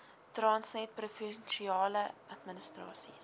transnet provinsiale administrasies